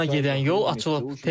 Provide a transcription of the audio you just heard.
Tehrana gedən yol açılıb.